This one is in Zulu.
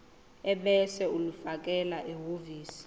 ebese ulifakela ehhovisi